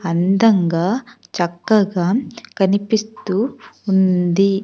అందంగా చక్కగా కనిపిస్తూ ఉంది.